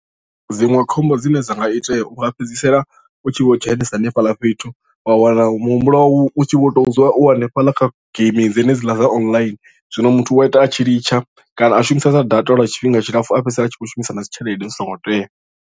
Dziṅwe khombo dzine dza nga itea u nga fhedzisela u tshi vho dzhenesa hanefhaḽa fhethu wa wana muhumbulo wau u tshi vho tou dzula u hanefhaḽa kha geimi dzenedziḽa dza online zwino muthu u wa ita a tshi litsha kana a shumisesa data lwa tshifhinga tshilapfu a fhedzisela a tshi khou shumisa na dzi tshelede zwi songo tea.